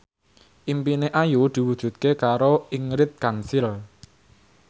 impine Ayu diwujudke karo Ingrid Kansil